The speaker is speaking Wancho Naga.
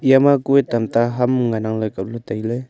eya ma kuye tam ta ham ngan nang le kaple taile.